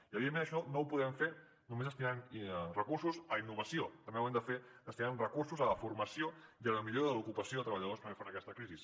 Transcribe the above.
i evidentment això no ho podem fer només destinant recursos a innovació també ho hem de fer destinant recursos a la formació i a la millora de l’ocupació de treballadors per fer front a aquesta crisi